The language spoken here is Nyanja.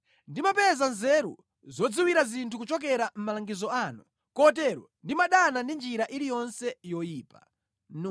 Ndimapeza nzeru zodziwira zinthu kuchokera mʼmalangizo anu; kotero ndimadana ndi njira iliyonse yoyipa.